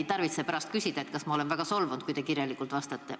Ei tarvitse pärast küsida, kas ma olen väga solvunud, kui te kirjalikult vastate.